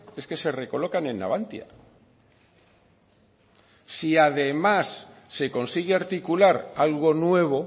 es que se recolocan en navantia si además se consigue articular algo nuevo